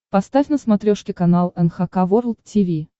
поставь на смотрешке канал эн эйч кей волд ти ви